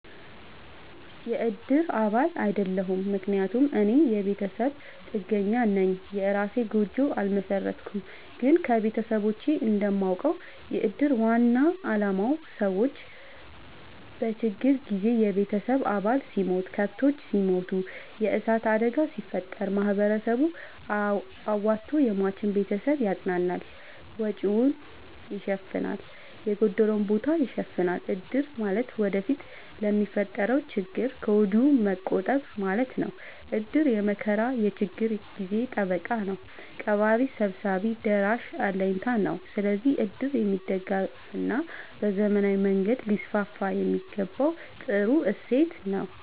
የእድር አባል አይደለሁም። ምክንያቱም እኔ የቤተሰብ ጥገኛነኝ የእራሴን ጎጆ አልመሠረትኩም። ግን ከቤተሰቦቼ እንደማውቀው። የእድር ዋናው አላማ ሰዎች በችግር ጊዜ የቤተሰብ አባል ሲሞት፤ ከብቶች ሲሞቱ፤ የዕሳት አደጋ ሲፈጠር፤ ማህበረሰቡ አዋቶ የሟችን ቤተሰብ ያፅናናል፤ ወጪወቹን ይሸፋናል፤ የጎደለውን ቦታ ይሸፋናል። እድር ማለት ወደፊት ለሚፈጠረው ችግር ከወዲሁ መቆጠብ ማለት ነው። እድር የመከራ የችግር ጊዜ ጠበቃ ነው። ቀባሪ ሰብሳቢ ደራሽ አለኝታ ነው። ስለዚህ እድር የሚደገፋና በዘመናዊ መንገድ ሊስስፋየሚገባው ጥሩ እሴት ነው።